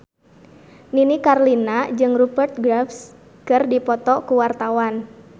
Nini Carlina jeung Rupert Graves keur dipoto ku wartawan